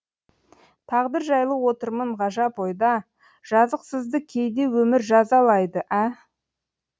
тағдыр жайлы отырмын ғажап ойда жазықсызды кейде өмір жазалайды ә